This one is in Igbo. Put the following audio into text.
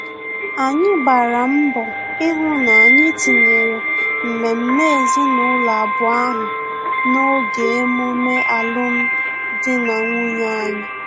Anyị gbara mbọ ihu na-anyị tinyere mmemme ezinụlọ abụọ ahụ n'oge emume alum dị na nwunye anyị